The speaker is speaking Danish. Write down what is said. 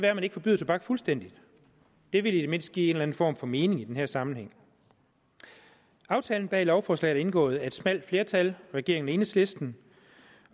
at man ikke forbyder tobak fuldstændig det ville i det mindste give en eller anden form for mening i den her sammenhæng aftalen bag lovforslaget er indgået af et smalt flertal regeringen og enhedslisten